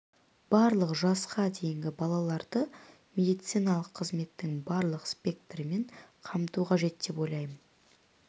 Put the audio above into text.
барлық жасқа дейінгі балаларды медициналық қызметтің барлық спектрімен қамту қажет деп ойлаймын